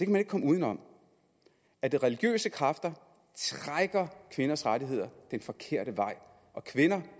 man ikke komme uden om at de religiøse kræfter trækker kvinders rettigheder den forkerte vej og kvinder